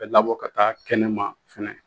Bɛ labɔ ka taa kɛnɛ ma fɛnɛ